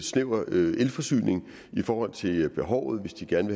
snæver elforsyning i forhold til behovet hvis de gerne